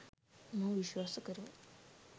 මම විශ්වාස කරමි.